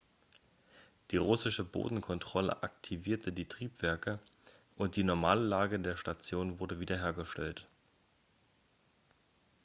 die russische bodenkontrolle aktivierte die triebwerke und die normale lage der station wurde wiederhergestellt